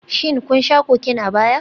Shin kun sha Cocaine a baya?